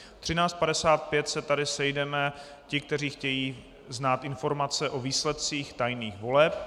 Ve 13.55 se tady sejdeme, ti, kteří chtějí znát informace o výsledcích tajných voleb.